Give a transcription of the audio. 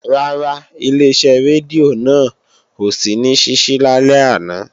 Rárá, Ileṣẹ́ rédíò náà ò sí ní ṣíṣí lálẹ́ àná